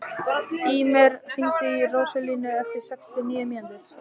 Ýmir, hringdu í Róselíu eftir sextíu og níu mínútur.